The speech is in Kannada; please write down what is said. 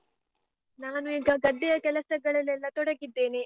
ನಾನು ಈಗ ಗದ್ದೆಯ ಕೆಲಸಗಳಲೆಲ್ಲ ತೊಡಗಿದ್ದೇನೆ.